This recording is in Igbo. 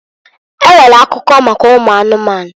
E nwere akuko maka ụmụ anụmanụ.